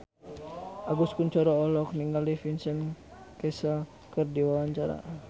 Agus Kuncoro olohok ningali Vincent Cassel keur diwawancara